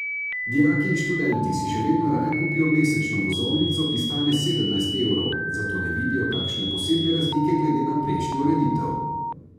Dijaki in študenti si še vedno raje kupijo mesečno vozovnico, ki stane sedemnajst evrov, zato ne vidijo kakšne posebne razlike glede na prejšnjo ureditev.